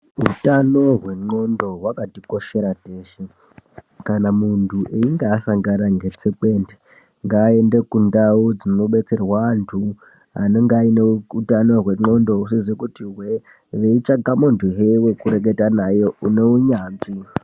Utano hwendxondo hwakatikoshera teshe kana muntu einge asangana ngetsekwende ngaende kundau dzinobetserwa antu anenge aine utano hwendxondo husizi kuti hwee veitsvaka muntuhe wekureketa naye une unyanzvi.